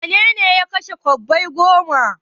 Wane ne ya kashe kwabbai goma?